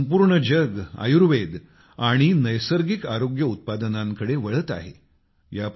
आज तर संपूर्ण जग आयुर्वेद आणि नैसर्गिक आरोग्य उत्पादनांकडे वळत आहेत